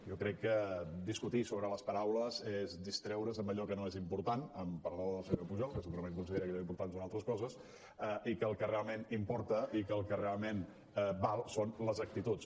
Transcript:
jo crec que discutir sobre les paraules és distreure’s amb allò que no és important amb perdó del senyor pujol que segurament considera que allò important són altres coses i que el que realment importa i que el que realment val són les actituds